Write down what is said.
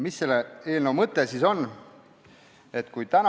Mis selle eelnõu mõte on?